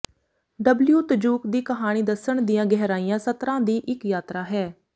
W ਤਜੁਕ ਦੀ ਕਹਾਣੀ ਦੱਸਣ ਦੀਆਂ ਗਹਿਰੀਆਂ ਸਤਰਾਂ ਦੀ ਇੱਕ ਯਾਤਰਾ ਹੈ